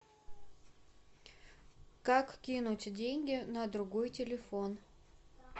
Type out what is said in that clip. как кинуть деньги на другой телефон